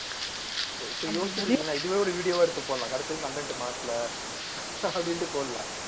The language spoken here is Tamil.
இப்ப யோசிச்சுப் பார்த்தீங்களா இதுவே ஒரு video வா எடுத்து போடலாம் கடைசி வரைக்கும் content மாட்டல அப்படின்னுட்டு போடலாம்